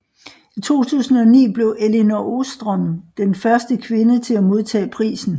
I 2009 blev Elinor Ostrom den første kvinde til at modtage prisen